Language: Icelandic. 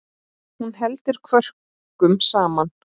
Hún heldur kvörkum saman.